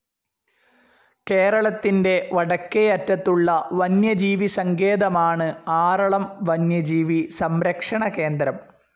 കേരളത്തിന്റെ വടക്കേയറ്റത്തുള്ള വന്യജീവിസങ്കേതമാണ് ആറളം വന്യജീവി സംരക്ഷണ കേന്ദ്രം.